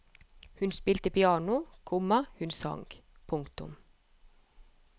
Hun spilte piano, komma hun sang. punktum